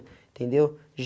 Entendeu?